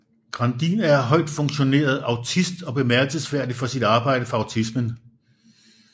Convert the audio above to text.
Grandin er højtfungerende autist og bemærkelsesværdig for sit arbejde for autismen